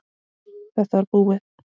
Þetta var búið.